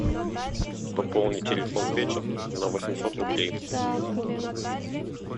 пополни телефон пети на восемьсот рублей